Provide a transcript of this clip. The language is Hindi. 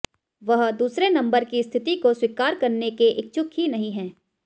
वह दूसरे नंबर की स्थिति को स्वीकार करने के इच्छुक ही नहीं हैं